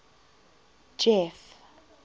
jeff